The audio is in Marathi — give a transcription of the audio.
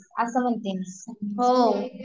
हो